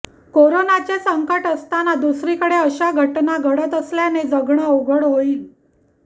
करोनाचे संकट असताना दुसरीकडे अशा घटना घडत असल्याने जगणे अवघड होईल